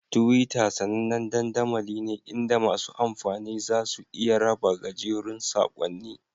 Twitter sAnannen dandamali ne inda masu amfani za su iya raba gajerun saƙonni